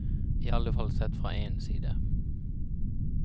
I alle fall sett fra én side.